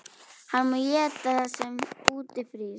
Hann má éta það sem úti frýs!